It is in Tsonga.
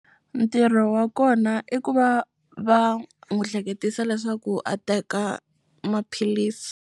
Ntirho wa kona i ku va va n'wi hleketisa leswaku a teka maphilisi.